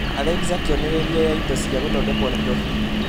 alexa kĩonereria ya indo cia gũthondekwo Nairobi